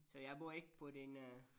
Så jeg bor ikke på den øh